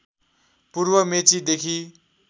पूर्व मेची देखि